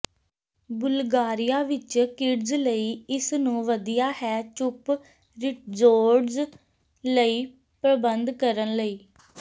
Bulgaria ਵਿੱਚ kids ਲਈ ਇਸ ਨੂੰ ਵਧੀਆ ਹੈ ਚੁੱਪ ਰਿਜ਼ੋਰਟਜ਼ ਲਈ ਪ੍ਰਬੰਧ ਕਰਨ ਲਈ